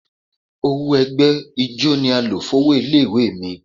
Owó ẹgbẹ́ ijó ni a lọ̀ fún owó ilé ìwé mi.